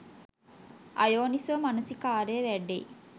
අයෝනිසෝ මනසිකාරය වැඩෙයි.